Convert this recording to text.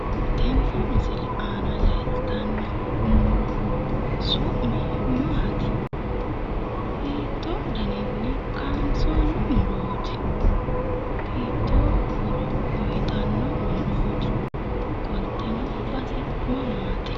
Tini misile aana leeltanno muro su'mi maati? hiittoo daninni kaansoonni murooti? hiittoo horo uuyitanno murooti? qolteno base mamaati?